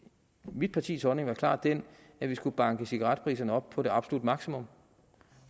mit partis holdning var klart den at vi skulle banke cigaretpriserne op på det absolutte maksimum